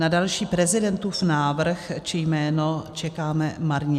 Na další prezidentův návrh či jméno čekáme marně.